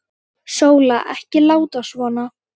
Sóla, ekki láta svona.